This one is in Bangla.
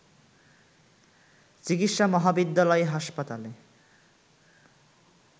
চিকিৎসা মহাবিদ্যালয় হাসপাতালে